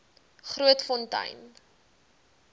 grootfontein